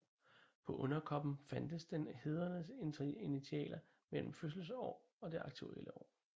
På underkoppen fandtes den hædredes initialer mellem fødselsår og det aktuelle år